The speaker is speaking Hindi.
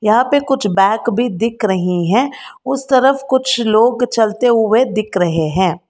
यहां पे कुछ बैग भी दिख रही हैं उस तरफ कुछ लोग चलते हुए दिख रहे हैं।